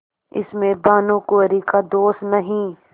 इसमें भानुकुँवरि का दोष नहीं